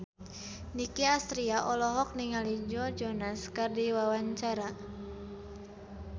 Nicky Astria olohok ningali Joe Jonas keur diwawancara